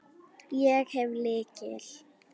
Ég hef lykil.